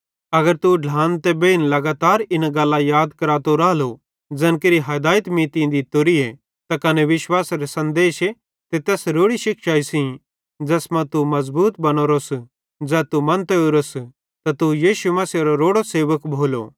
अगर तू ढ्लान ते बेइनन लगातार इन्ना गल्लां याद करातो रालो ज़ैन केरि हदायत मीं तीं दित्तोरीए त कने विश्वासेरे सन्देशे ते तैस रोड़ी शिक्षाई सेइं ज़ैस मां तू मज़बूत बनावरोस ज़ै तू मन्तो ओरोस त तू यीशु मसीहेरो रोड़ो सेवक भोलो